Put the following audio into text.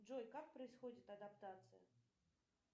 джой как происходит адаптация